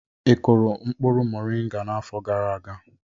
Ị kụrụ mkpụrụ moringa n'afọ gara aga?